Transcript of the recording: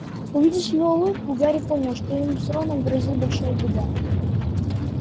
увидев его улыбку гарри понял что им с роном грозит большая беда